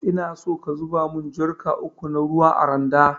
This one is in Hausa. Inaso ka zuba mun jarka uku na ruwa a randa.